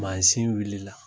Masin wulila